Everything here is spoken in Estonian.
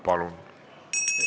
Palun!